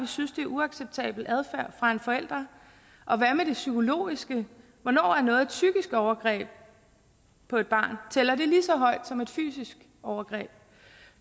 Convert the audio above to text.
synes det er uacceptabel adfærd fra en forælder og hvad med det psykologiske hvornår er noget et psykisk overgreb på et barn tæller det lige så højt som et fysisk overgreb